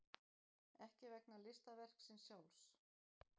Ekki vegna listaverksins sjálfs.